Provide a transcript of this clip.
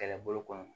Kɛlɛbolo kɔnɔ